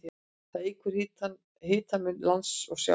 Það eykur hitamun lands og sjávar.